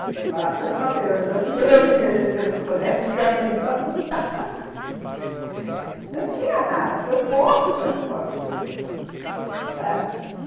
Tinha que parar dois quarteirões antes porque eu não ia descer no colégio de caminhão Não tinha nada, foi posto o transporte depois, uhum, sabe?